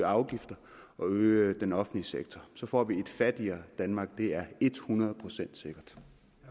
afgifter og den offentlige sektor så får vi et fattigere danmark det er et hundrede procent sikkert